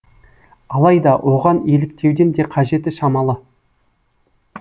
алайда оған еліктеудін де қажеті шамалы